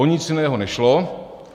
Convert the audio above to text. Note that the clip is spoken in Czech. O nic jiného nešlo.